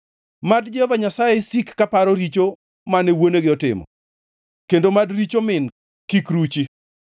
Mad Jehova Nyasaye sik kaparo richo mane wuonegi otimo; kendo mad richo min kik ruchi.